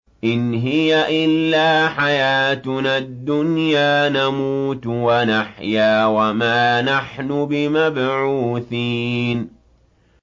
إِنْ هِيَ إِلَّا حَيَاتُنَا الدُّنْيَا نَمُوتُ وَنَحْيَا وَمَا نَحْنُ بِمَبْعُوثِينَ